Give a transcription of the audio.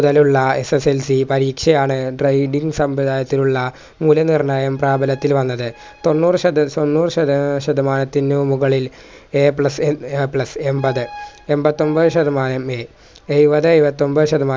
ലുള്ള SSLC പരീക്ഷയാണ് grading സംവിധാനത്തിലുള്ള മൂല്യനിർണയം പ്രാബല്യത്തിൽ വന്നത് തൊണ്ണൂറ് ശത തൊണ്ണൂറ് ശത എ ശതമാനത്തിനു മുകളിൽ a plus എം A plus എമ്പത് എമ്പത്തൊമ്പത് ശതമാനം A എയ്‌വതെ എയ്‌വത്തൊമ്പത് ശത